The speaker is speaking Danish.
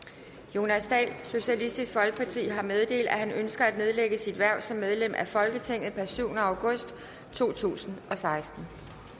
jonas dahl har meddelt at han ønsker at nedlægge sit hverv som medlem af folketinget per syvende august to tusind og seksten